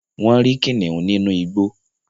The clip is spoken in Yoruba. wón rí kìnìún ninu igbó